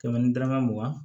Kɛmɛ ni dɔrɔmɛ mugan